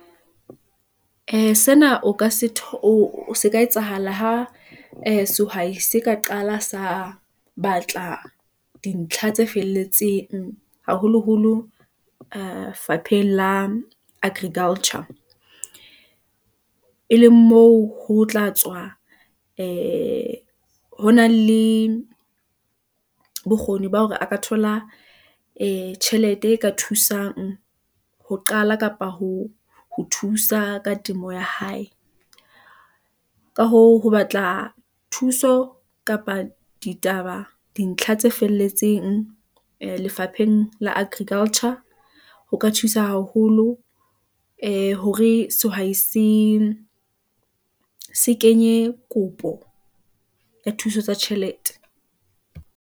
Ee, sena se ka etsahala ha ee sehwai se ka qala sa batla dintlha tse felletseng, haholoholo lefapheng la agriculture . E leng moo ho tla tswa , ee honang le bokgoni ba hore a ka thola ee tjhelete e ka thusang , ho qala kapa ho ho thusa ka temo ya hae , ka hoo, ho batla thuso kapa ditaba, dintlha tse felletseng , ee lefapheng la agriculture . Ho ka thusa haholo ee hore sehwai se kenye kopo ya thuso tsa tjhelete.